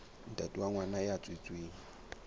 ntate wa ngwana ya tswetsweng